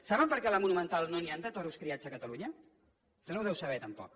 saben per què a la monumental no n’hi han de toros criats a catalunya això no ho deu saber tampoc